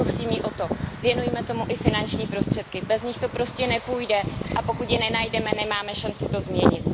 Prosím ji o to, věnujme tomu i finanční prostředky, bez nich to prostě nepůjde, a pokud je nenajdeme, nemáme šanci to změnit.